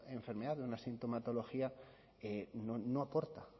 enfermedad de una sintomatología no aporta